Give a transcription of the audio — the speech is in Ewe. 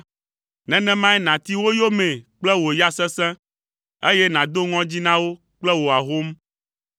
nenemae nàti wo yomee kple wò ya sesẽ, eye nàdo ŋɔdzi na wo kple wò ahom.